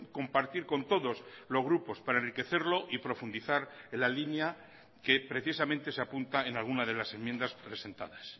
compartir con todos los grupos para enriquecerlo y profundizar en la línea que precisamente se apunta en alguna de las enmiendas presentadas